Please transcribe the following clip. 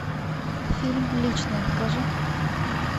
фильм личное покажи